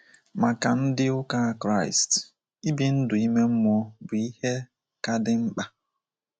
Maka ndi uka Kraist, ibi ndụ ime mmụọ bụ ihe ka dị mkpa